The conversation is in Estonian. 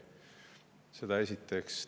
Seda esiteks.